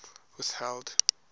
whitfield